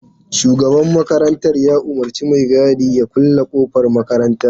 Shugaban makarantar ya umurci mai gadin ya kulle kofar makarantar.